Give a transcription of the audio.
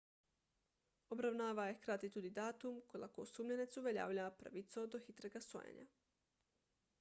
obravnava je hkrati tudi datum ko lahko osumljenec uveljavlja pravico do hitrega sojenja